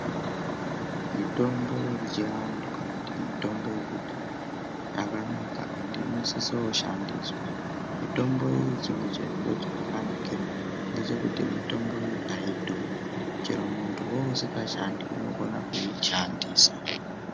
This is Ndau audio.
Mitombo yechiantu kana kuti mitombo yekudhaya yakanaka endi inosiso kushandiswa. Mitombo iyi chimwe chezviro chayakanakira ngechekuti mitombo iyi haidhuri, chero muntuwo usingashandi unokona kuishandisa.